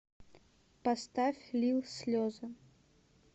поставь лил слезы